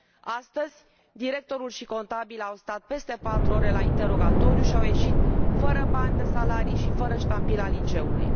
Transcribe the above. Astăzi, directorul și contabila au stat peste patru ore la interogatoriu și au ieșit fără bani de salarii și fără ștampila liceului.